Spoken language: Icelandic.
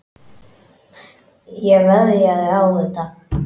Ég veðjaði á þetta.